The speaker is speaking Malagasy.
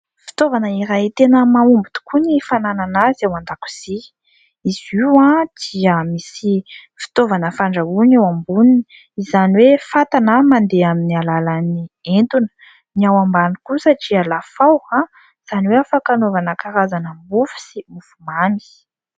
Fitaovana iray tena mahomby tokoa ny fananana azy ao an-dakozia. Izy io dia misy fitaovana fandrahoana eo amboniny, izany hoe fatana mandeha amin'ny alalan'ny etona. Ny ao ambany kosa dia lafaoro, izany hoe afaka anaovana karazana mofo sy mofomamy.